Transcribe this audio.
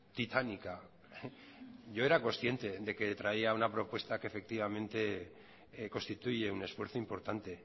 titánica yo era consciente de que traía una propuesta que efectivamente constituye un esfuerzo importante